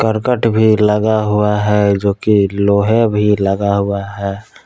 करकट भी लगा हुआ है जोकि लोहा भी लगा हुआ है।